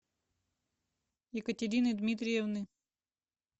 екатерины дмитриевны